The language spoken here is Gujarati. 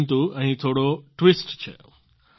પરંતુ અહીં થોડો ટ્વીસ્ટ છે